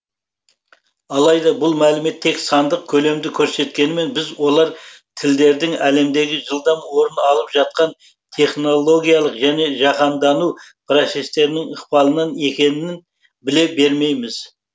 алайда бұл мәлімет тек сандық көлемді көрсеткенімен біз олар тілдердің әлемдегі жылдам орын алып жатқан технологиялық және жаһандану процестерінің ықпалынан екенін біле бермейміз